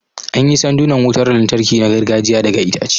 An yi sandunan wutar lantarki na gargajiya daga itace